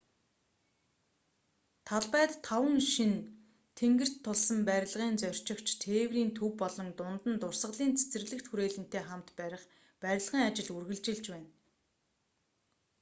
талбайд таван шинэ тэнгэрт тулсан барилгыг зорчигч тээврийн төв болон дунд нь дурсгалын цэцэрлэгт хүрээлэнтэй хамт барих барилгын ажил үргэлжилж байна